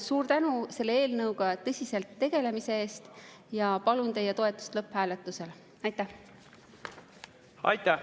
Suur tänu selle eelnõuga tõsiselt tegelemise eest ja palun teie toetust lõpphääletusel!